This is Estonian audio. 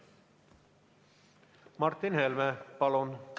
Martin Helme, palun!